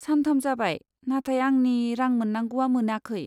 सान थाम जाबाय, नाथाय आंनि रां मोन्नांगौआ मोनाखै।